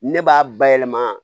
Ne b'a bayɛlɛma